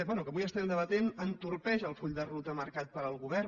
bé que avui estem debatent entorpeix el full de ruta mar·cat pel govern